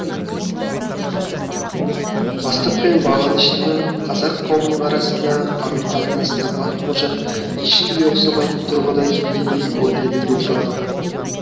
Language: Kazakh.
бастық пен бағыныштының қазақ қауымының арасындағы қарым қатынасына баққожа ешкімге ұқсамайтын тұрғыда келгендей көрінеді де тұрады